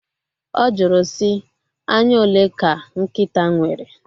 Ọ jụrụ sị, anya ole ka nkịta nwere?